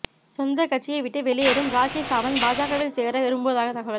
சொந்த கட்சியை விட்டு வெளியேறும் ராக்கி சாவந்த் பாஜகவில் சேர விரும்புவதாக தகவல்